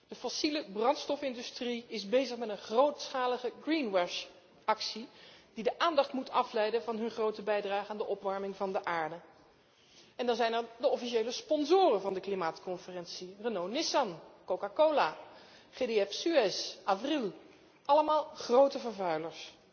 De fossielebrandstofindustrie is bezig met een grootschalige greenwash actie die de aandacht moet afleiden van haar grote bijdrage aan de opwarming van de aarde. En dan zijn er de officiële sponsoren van de klimaatconferentie Renault Nissan, Coca Cola, GDF Suez, Avril, allemaal grote vervuilers.